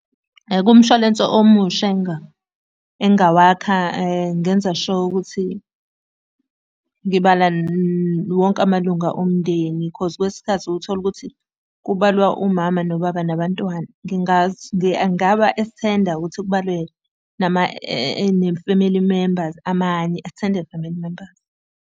Kumshwalense omusha engingawakha ngingenza sure ukuthi ngibala wonke amalunga omndeni khoz kwesinye isikhathi ukuthole ukuthi kubalwa umama nobaba nabantwana. Engaba eksthenda ukuthi kubalwe nama ne-family members amanye, extended family members.